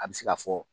A bɛ se ka fɔ